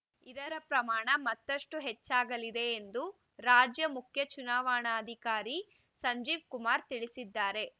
ಇದರ ಪ್ರಮಾಣ ಮತ್ತಷ್ಟು ಹೆಚ್ಚಾಗಲಿದೆ ಎಂದು ರಾಜ್ಯ ಮುಖ್ಯ ಚುನಾವಣಾಧಿಕಾರಿ ಸಂಜೀವ್‌ ಕುಮಾರ್‌ ತಿಳಿಸಿದ್ದಾರೆ